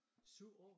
7 år?